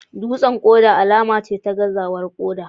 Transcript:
Dutsen koda alama ce ta gazawar koda